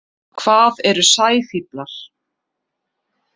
Hvað eru sæfíflar?